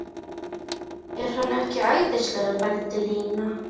Er hann ekki æðislegur? vældi Nína.